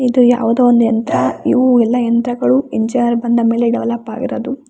ಇದು ಯಾವುದೋ ಒಂದು ಯಂತ್ರ ಇವು ಎಲ್ಲ ಯಂತ್ರಗಳು ಇಂಚಾರ್ಜ್ ಬಂದಮೇಲೆ ಡೆವಲಪ್ ಆಗಿರೋದು.